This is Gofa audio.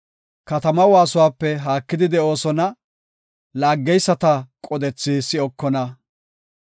Katama waasuwape haakidi de7oosona; laaggeysta qodethi si7okona.